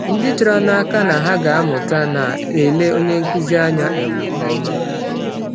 Ndị chọrọ n’aka na ha ga-amụta na-ele onye nkụzi anya um nke ọma.